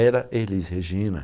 Era Elis Regina.